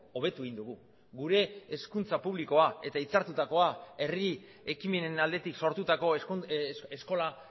hobetu egin dugu gure hezkuntza publikoa eta hitzartutakoa herri ekimenen aldetik sortutako eskola